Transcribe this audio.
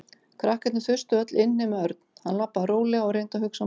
Krakkarnir þustu öll inn nema Örn. Hann labbaði rólega og reyndi að hugsa málið.